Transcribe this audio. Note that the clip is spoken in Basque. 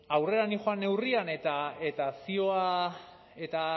aurrera nindoan neurrira eta zioa eta